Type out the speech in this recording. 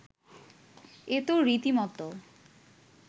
এ তো রীতিমত